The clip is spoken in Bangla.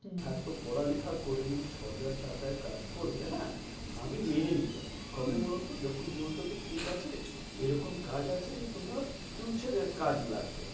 এত পড়ালেখা করে যদি ছ হাজার টাকায় কাজ করবে হ্যাঁ। আমি মেনে নিতাম হম কবে বলতো? যখন বলতো কি ঠিকাছে এরকম কাজ আছে তোমার future এর কাজে লাগবে।